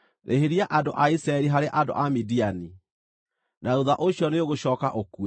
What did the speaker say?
“Rĩhĩria andũ a Isiraeli harĩ andũ a Midiani. Na thuutha ũcio nĩũgũcooka ũkue.”